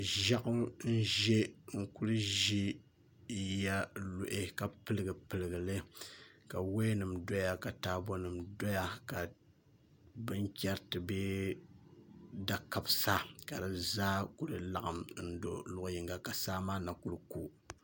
Ʒiɛɣu n ʒɛ n kuli ʒɛ yiya n luhi ka piligi piligi li ka woya nim doya ka taabo nim doya ka binchɛriti bee da kabisa ka di zaa ku laɣam do luɣu yinga ka saa maa na ku ku